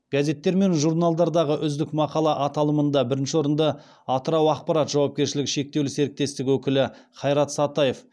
газеттер мен журналдардағы үздік мақала аталымында бірінші орынды атырау ақпарат жауапкершілігі шектеулі серітестігі өкілі хайрат сатаев